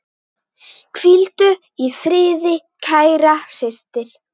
Hvíldu í friði, kæra systir.